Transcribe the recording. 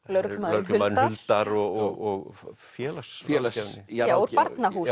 lögreglumaðurinn Huldar og félagsráðgjafinn já úr Barnahúsi